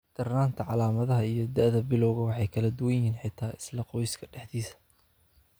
Darnaanta calaamadaha iyo da'da bilawga way kala duwan yihiin, xitaa isla qoyska dhexdiisa.